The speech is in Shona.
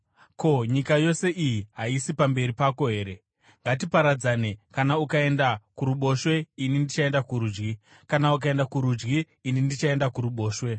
Ko, nyika yose iyi haisi pamberi pako here? Ngatiparadzane. Kana ukaenda kuruboshwe, ini ndichaenda kurudyi; kana ukaenda kurudyi, ini ndichaenda kuruboshwe.”